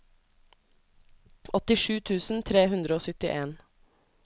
åttisju tusen tre hundre og syttien